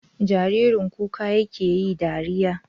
Jaririn kuka yake yi dariya?